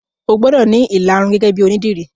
O gbọ́dọ̀ ní ìlarun gẹ́gẹ́ bíi onídìrí